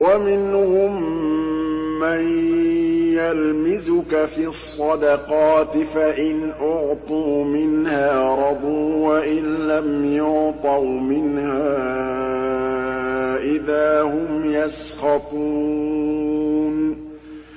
وَمِنْهُم مَّن يَلْمِزُكَ فِي الصَّدَقَاتِ فَإِنْ أُعْطُوا مِنْهَا رَضُوا وَإِن لَّمْ يُعْطَوْا مِنْهَا إِذَا هُمْ يَسْخَطُونَ